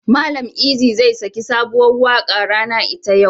Mallam Eazy zai yi saki sabuwar rana ita yau.